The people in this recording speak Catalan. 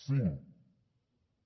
cinc